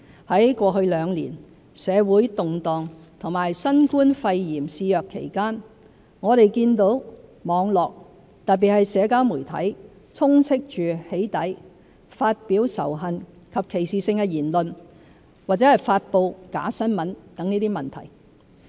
在過去兩年，社會動盪及新冠肺炎肆虐期間，我們見到網絡，特別是社交媒體充斥着"起底"、發表仇恨及歧視性言論或發布假新聞等問題。